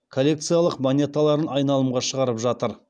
коллекциялық монеталарын айналымға шығарып жатыр